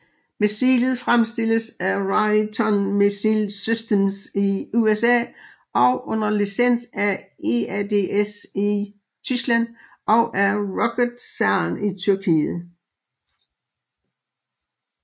Missilet fremstilles af Raytheon Missile Systems i USA og under licens af EADS i Tyskland og af ROKETSAN i Tyrkiet